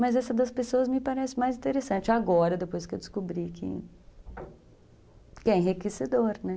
Mas essa das pessoas me parece mais interessante agora, depois que eu descobri, que é enriquecedor, né?